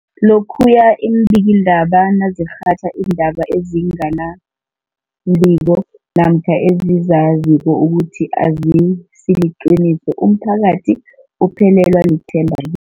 Lokhuya iimbikiindaba nazirhatjha iindaba ezinga nembiko namkha ezizaziko ukuthi azisiliqiniso, umphakathi uphelelwa lithemba i